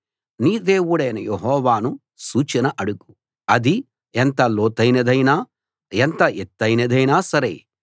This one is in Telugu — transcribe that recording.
నీ దేవుడైన యెహోవాను సూచన అడుగు అది ఎంత లోతైనదైనా ఎంత ఎత్తయినదైనా సరే